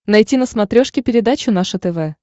найти на смотрешке передачу наше тв